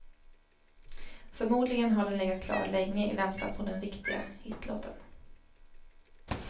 Förmodligen har den legat klar länge i väntan på den viktiga hitlåten.